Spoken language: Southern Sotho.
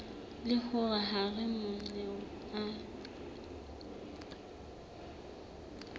le hore hara mananeo a